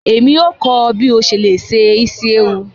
Emi yóò kọ ọ bi o ṣe le se isi ewu.